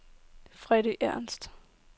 Freddy Ernst